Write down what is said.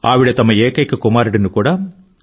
ఆవిడ తమ ఏకైక కుమారుడిని కూడా సి